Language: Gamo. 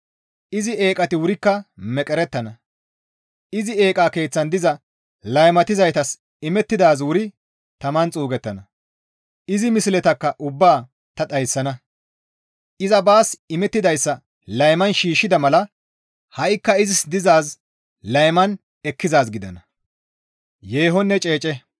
Izi eeqati wurikka meqerettana; izi eeqa keeththan diza laymatizaytas imettidaazi wuri taman xuugettana; izi misletakka ubbaa ta dhayssana; iza baas imettidayssa layman shiishshida mala ha7ikka izis dizaazi layman ekkizaaz gidana.